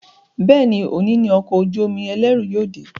Béèni òní ní Ọkọ̀ ojú-omi ẹlẹru yóò dé.